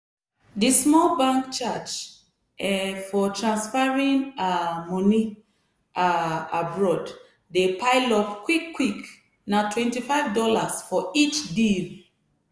di bank small charge um for transferring um money um abroad dey pile up quick-quick natwenty five dollarsfor each deal.